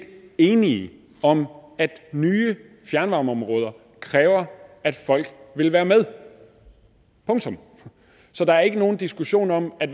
enige om at nye fjernvarmeområder kræver at folk vil være med punktum så der er ikke nogen diskussion om at